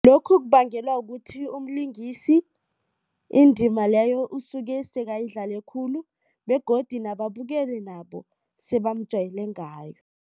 Lokhu kubangelwa ukuthi umlingisi indima leyo usuke sekayidlale khulu begodu nababukeli nabo sebamjayele ngayo.